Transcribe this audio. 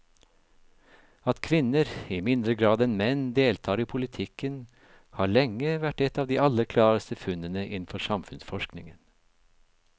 At kvinner i mindre grad enn menn deltar i politikken har lenge vært et av de aller klareste funnene innenfor samfunnsforskningen.